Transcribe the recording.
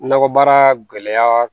Nakɔbaara gɛlɛya